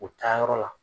U taa yɔrɔ la